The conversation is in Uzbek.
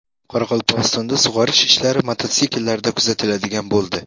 Qoraqalpog‘istonda sug‘orish ishlari mototsikllarda kuzatiladigan bo‘ldi.